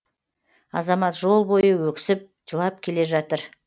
азамат жол бойы өксіп жылап келе жатыр